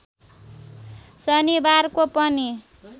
शनिबारको पनि